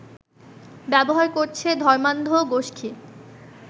ব্যবহার করছে ধর্মান্ধ গোষ্ঠী